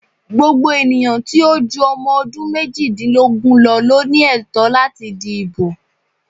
Gbogbo ènìyàn tí ó ju ọmọ ọdún méjìdínlógún lọ ló ní ẹ̀tọ́ láti di ìbò.